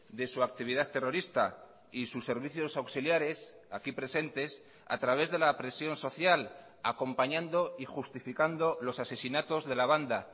de su actividad terrorista y sus servicios auxiliares aquí presentes a través de la presión social acompañando y justificando los asesinatos de la banda